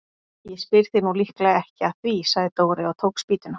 Ég spyr þig nú líklega ekki að því sagði Dóri og tók spýtuna.